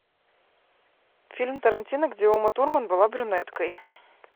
фильм тарантино где ума турман была брюнеткой